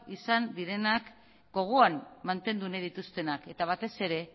izan direnak gogoan mantendu nahi dituztenak eta batez ere